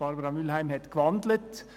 Barbara Mühlheim hat gewandelt.